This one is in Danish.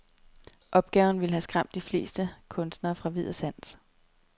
Opgaven ville have skræmt de fleste kunstnere fra vid og sans.